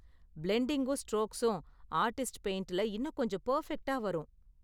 பிலெண்டிங்கும் ஸ்ட்ரோக்ஸும் ஆர்டிஸ்ட் பெயிண்ட்ல இன்னும் கொஞ்சம் பெர்பெக்ட்டா வரும்.